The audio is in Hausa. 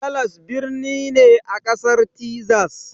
Dallas birni ne a Ƙasar Tezas